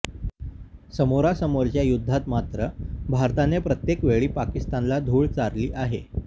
समोरासमोरच्या युद्धात मात्र भारताने प्रत्येक वेळी पाकिस्तानला धुळ चारली आहे